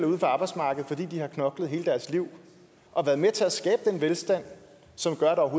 uden for arbejdsmarkedet fordi de har knoklet hele deres liv og været med til at skabe den velstand som gør at